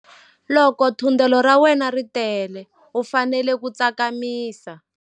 Loko thundelo ra wena ri tele u fanele ku tsakamisa.